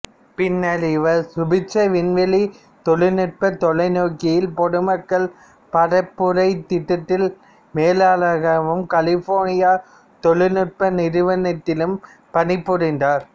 பின்னர் இவர் சுபிட்சர் விண்வெளித் தொழில்நுட்பத் தொலைநோக்கியில் பொதுமக்கள் பரப்புரைத் திட்டத்தில் மேலாளராகவும் கலிபோர்னியா தொழில்நுட்ப நிறுவனத்திலும் பணிபுரிந்தார்